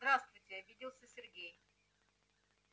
здравствуйте обиделся сергей